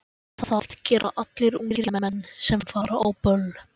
Það gera allir ungir menn sem fara á böll.